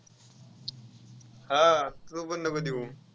हा तू पण नको देऊ.